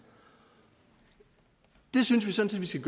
det synes vi sådan set